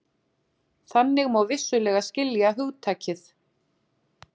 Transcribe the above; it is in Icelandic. Þannig má vissulega skilja hugtakið.